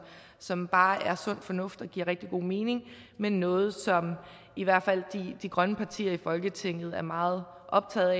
som bare er sund fornuft og giver rigtig god mening med noget som i hvert fald de grønne partier i folketinget er meget optaget